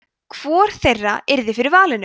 hvor þeirra yrði fyrir valinu